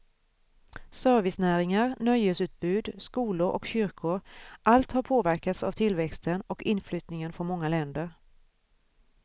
Servicenäringar, nöjesutbud, skolor och kyrkor, allt har påverkats av tillväxten och inflyttningen från många länder.